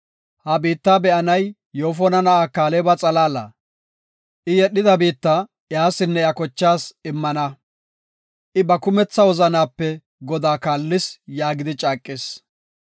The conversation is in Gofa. Ha biitta be7anay Yoofona na7aa Kaaleba xalaala. I yedhida biitta iyasinne iya kochaas immana; I ba kumetha wozanaape Godaa kaallis” yaagidi caaqis.